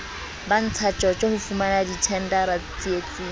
ba ntshatjotjo ho fumanadithendara tseitseng